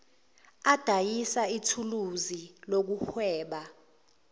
odayisa ithuluzi lokuhweba